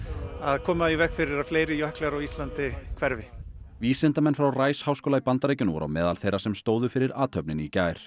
koma í veg fyrir að fleiri jöklar á Íslandi hverfi vísindamenn frá Rice háskóla í Bandaríkjunum voru á meðal þeirra sem stóðu fyrir athöfninni í gær